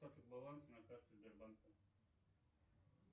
баланс на карте сбербанка